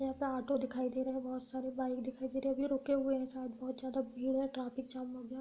यहाँ पे आटो दिखाई दे रहे हैं बहुत सारे। बाइक दिखाई दे रही है। वे रुके हुए है शायद। बोहोत ज्यादा भीड़ है। ट्राफिक जाम हो गया --